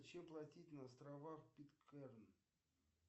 чем платить на островах питкэрн